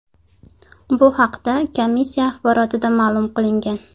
Bu haqda komissiya axborotida ma’lum qilingan .